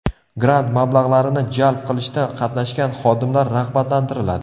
Grant mablag‘larini jalb qilishda qatnashgan xodimlar rag‘batlantiriladi.